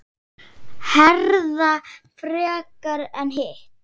Herða frekar en hitt?